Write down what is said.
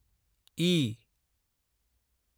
E